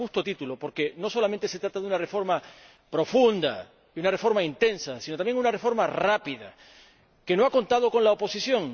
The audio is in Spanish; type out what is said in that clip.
Y a justo título, porque no solamente se trata de una reforma profunda, de una reforma intensa, sino también de una reforma rápida, que no ha contado con la oposición.